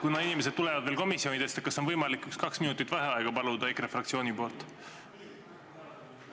Kuna inimesed veel tulevad komisjonidest, siis kas oleks võimalik paluda kaks minutit vaheaega EKRE fraktsiooni nimel?